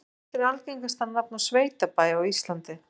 Hvert er algengasta nafn á sveitabæ á Íslandi?